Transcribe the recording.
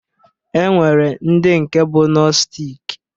E nwere ndị nke bụ nostic